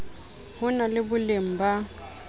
ho na le boleng ba